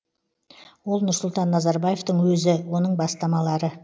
ол нұрсұлтан назарбаевтың өзі оның бастамалары